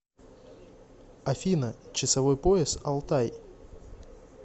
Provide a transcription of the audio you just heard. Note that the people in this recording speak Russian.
афина часовой пояс алтай